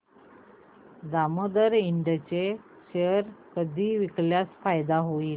Damodar Ind चे share कधी विकल्यास फायदा होईल